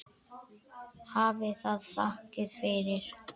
Hafi það þakkir fyrir.